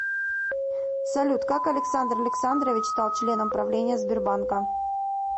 салют как александр александрович стал членом правления сбербанка